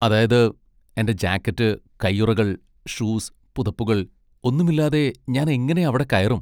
അതായത്, എന്റെ ജാക്കറ്റ്, കയ്യുറകൾ, ഷൂസ്, പുതപ്പുകൾ, ഒന്നുമില്ലാതെ ഞാൻ എങ്ങനെ അവിടെ കയറും?